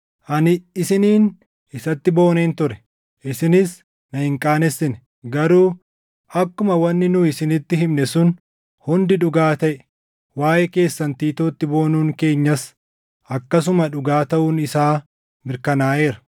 Ani isiniin isatti booneen ture; isinis na hin qaanessine. Garuu akkuma wanni nu isinitti himne sun hundi dhugaa taʼe, waaʼee keessan Tiitootti boonuun keenyas akkasuma dhugaa taʼuun isaa mirkanaaʼeera.